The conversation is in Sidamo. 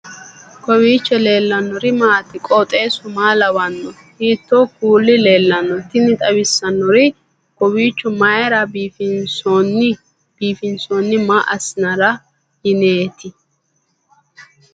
kowiicho leellannori maati ? qooxeessu maa lawaanno ? hiitoo kuuli leellanno ? tini xawissannori kowiicho mayra biifinsoonni maa asssinara yineeti